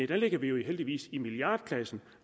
der ligger vi jo heldigvis i milliardklassen